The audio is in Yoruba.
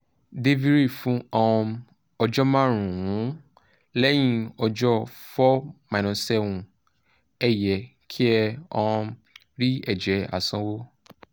deviry fún um ọjọ́ márùn-ún; lẹ́yìn ọjọ́ 4-7 ẹ yẹ kí ẹ um rí ẹ̀jẹ̀ àsanwó